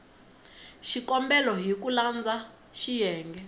xikombelo hi ku landza xiyenge